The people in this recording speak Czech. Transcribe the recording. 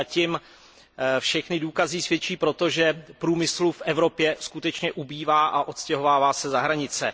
Zatím všechny důkazy svědčí o tom, že průmyslu v Evropě skutečně ubývá a odstěhovává se za hranice.